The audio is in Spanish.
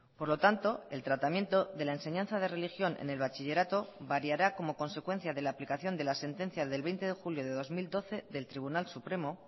por lo tanto el tratamiento de la enseñanza de religión en el bachillerato variará como consecuencia de la aplicación de la sentencia del veinte de julio de dos mil doce del tribunal supremo